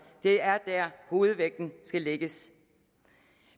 det er der hovedvægten skal lægges